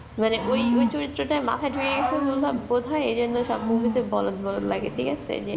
মানে ওই ওই চরিত্রটা মাথায় ঢুকে গেছে বলেই বোধ হয় এই জন্য সব movie তে বলদ বলদ লাগে ঠিক আছে যে